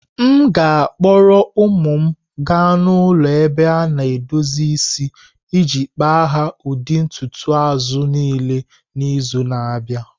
M ga-akpọrọ ụmụ m gaa n'ụlọ ebe a na edozi isi iji kpa ha ụdị ntutu azụ niile n'izu na-abịa.